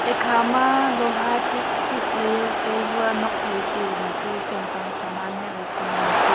ekha ma loha chiz thik le jao tai hua nuak phai chi ma tu cham pang saman heh ley chu man tik.